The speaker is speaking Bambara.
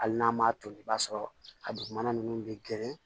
Hali n'a m'a toli i b'a sɔrɔ a dugumana ninnu bɛ geren